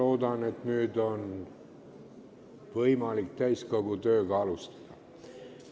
Ma loodan, et nüüd on võimalik täiskogu tööd alustada.